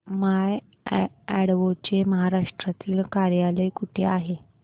माय advo चे महाराष्ट्रातील कार्यालय कुठे आहे